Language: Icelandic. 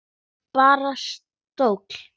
Bara stóll!